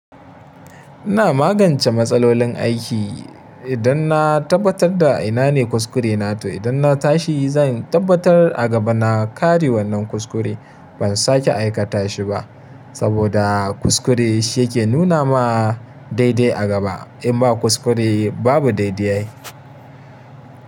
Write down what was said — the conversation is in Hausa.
Ina magance matsalolin aiki idan na tabbatar da ina ne kuskure na to idan na tashi zan tabbatar a gaba na kare wannan kuskure. Ban sake aikata shi ba saboda kuskure shi yake nuna ma daidai a gaba. In ba kuskure babu dai-dai ai.